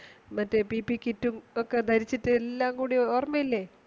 മറ്റേ PP കിറ്റും ഒക്കെ ധരിച്ചിട്ടു എല്ലാം ഓർമയില്ലേ